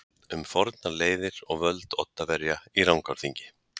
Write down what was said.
Um fornar leiðir og völd Oddaverja í Rangárþingi.